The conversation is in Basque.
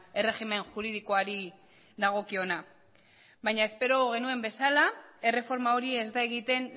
erregimen juridikoari dagokiona baina espero genuen bezala erreforma hori ez da egiten